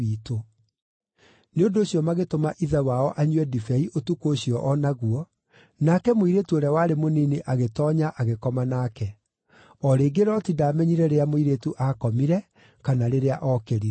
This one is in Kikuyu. Nĩ ũndũ ũcio magĩtũma ithe wao anyue ndibei ũtukũ ũcio o naguo, nake mũirĩtu ũrĩa warĩ mũnini agĩtoonya agĩkoma nake. O rĩngĩ Loti ndaamenyire rĩrĩa mũirĩtu aakomire kana rĩrĩa ookĩrire.